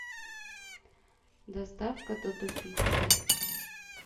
доставка додо пицца